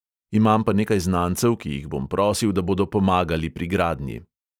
Imam pa nekaj znancev, ki jih bom prosil, da bodo pomagali pri gradnji.